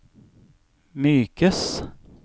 mykes